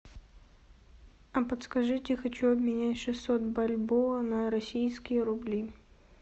а подскажите я хочу обменять шестьсот бальбоа на российские рубли